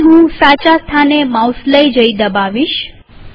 પછી હું સાચા સ્થાને માઉસ દબાવીશ